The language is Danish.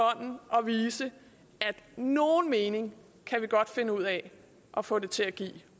vise at nogen mening kan vi godt finde ud af at få det til at give